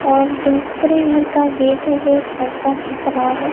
और दूसरे घर का गेट है जो एक लड़का ढक रहा है।